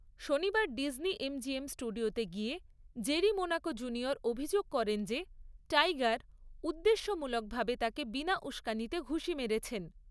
শনিবার Disney MGM স্টুডিওতে গিয়ে জেরি মোনাকো জুনিয়র অভিযোগ করেন যে টাইগার উদ্দেশ্যমূলকভাবে তাকে বিনা উসকানিতে ঘুষি মেরেছেন।